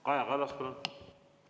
Kaja Kallas, palun!